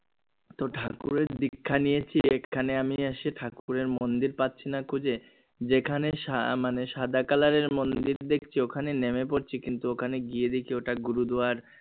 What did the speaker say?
তো ঠাকুরের দীক্ষা নিয়েছি এখানে আমি এসে ঠাকুরের মন্দির পাচ্ছি না খুঁজে যেখানে সা মানে সাদা color এর মন্দির দেখছি ওখানে নেমে পড়ছি কিন্তু ওখানে গিয়ে দেখি ওটা গুরুদুয়ার